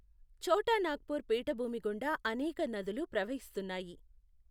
ఛోటా నాగ్పూర్ పీఠభూమి గుండా అనేక నదులు ప్రవహిస్తున్నాయి.